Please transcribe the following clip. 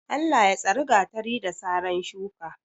Allah ya tsari gatari, da saran shuka.